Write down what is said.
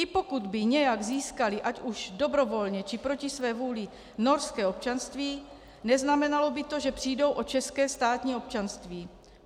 I pokud by nějak získali ať už dobrovolně, či proti své vůli norské občanství, neznamenalo by to, že přijdou o české státní občanství.